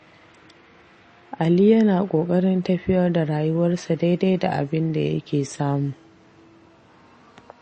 Ali yana ƙoƙarin tafiyar da rayuwarsa daidai da abinda yake samu.